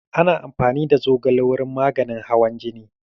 Ana amfani da ganyen zogale wurin maganin hawan jini.